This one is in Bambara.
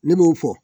Ne b'o fɔ